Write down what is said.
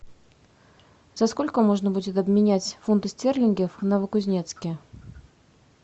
за сколько можно будет обменять фунты стерлинги в новокузнецке